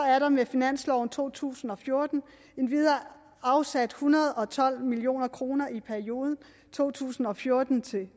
er der med finansloven for to tusind og fjorten endvidere afsat en hundrede og tolv million kroner i perioden to tusind og fjorten til